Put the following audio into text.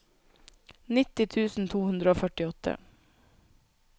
nitti tusen to hundre og førtiåtte